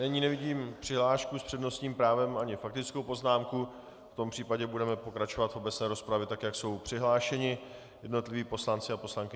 Nyní nevidím přihlášku s přednostním právem ani faktickou poznámku, v tom případě budeme pokračovat v obecné rozpravě, tak jak jsou přihlášeni jednotliví poslanci a poslankyně.